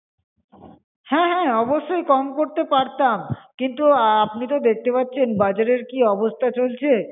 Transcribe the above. হ্যাঁ হ্যাঁ অবশ্যই কম করতে পারতাম কিন্তু আপনি তো দেখতে পাচ্ছেন বাজারের কি অবস্থা চলছে